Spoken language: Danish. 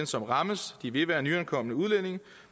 som rammes vil være nyankomne udlændinge